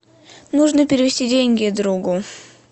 нужно перевести деньги другу